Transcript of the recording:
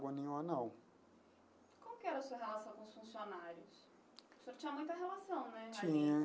Nenhuma não. E como que era a sua relação com os funcionários? O senhor tinha muita relação né ali? Tinha.